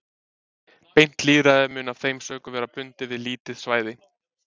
Beint lýðræði mun af þeim sökum vera bundið við lítið svæði.